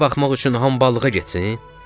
Bizə baxmaq üçün hambalığa getsin?